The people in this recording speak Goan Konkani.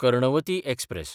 कर्णवती एक्सप्रॅस